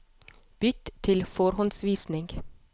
Bytt til forhåndsvisning